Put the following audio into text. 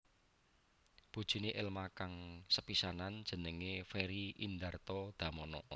Bojoné Elma kang sepisanan jenenge Ferry Indarto Damono